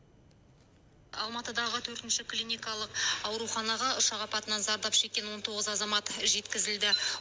алматыдағы төртінші клиникалық ауруханаға ұшақ апатынан зардап шеккен он тоғыз азамат жеткізілді